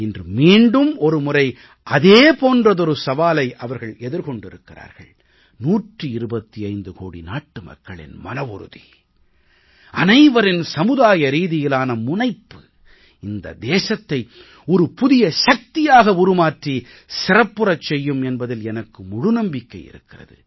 இன்று மீண்டும் ஒரு முறை அதே போன்றதொரு சவாலை அவர்கள் எதிர்கொண்டிருக்கிறார்கள் 125 கோடி நாட்டுமக்களின் மனவுறுதி அனைவரின் சமுதாய ரீதியிலான முனைப்பு இந்த தேசத்தை ஒரு புதிய சக்தியாக உருமாற்றி சிறப்புறச் செய்யும் என்பதில் எனக்கு முழு நம்பிக்கை இருக்கிறது